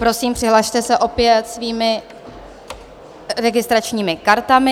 Prosím, přihlaste se opět svými registračními kartami.